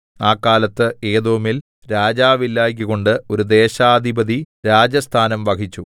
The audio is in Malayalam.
ആ കാലത്ത് ഏദോമിൽ രാജാവില്ലായ്കകൊണ്ട് ഒരു ദേശാധിപതി രാജസ്ഥാനം വഹിച്ചു